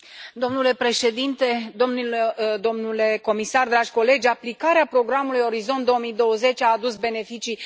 Domnule președinte, domnule comisar, dragi colegi, aplicarea programului Orizont 2020 a adus beneficii.